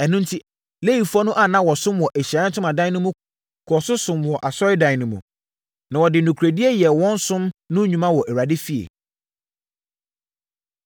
Ɛno enti, Lewifoɔ no a na wɔsom wɔ Ahyiaeɛ Ntomadan no mu kɔɔ so somm wɔ Asɔredan no mu. Na wɔde nokorɛdie yɛɛ wɔn som no nnwuma wɔ Awurade efie.